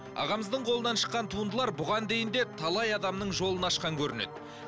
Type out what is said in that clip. ағамыздың қолынан шыққан туындылар бұған дейін де талай адамның жолын ашқан көрінеді